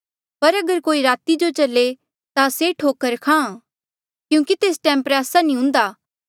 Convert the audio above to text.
पर अगर कोई राती जो चले ता से ठोकर खाहां क्यूंकि तेस टैम प्रयासा नी हुंदा